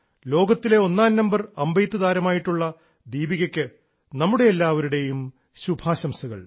ലോകത്തിലെ ഒന്നാംനമ്പർ അമ്പെയ്ത്തു താരമായിട്ടുള്ള ദീപികയ്ക്ക് നമ്മുടെ എല്ലാവരുടേയും ശുഭാശംസകൾ